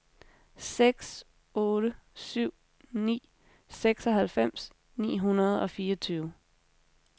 seks otte syv ni seksoghalvfems ni hundrede og fireogtyve